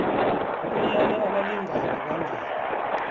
bonyana abalingani bangene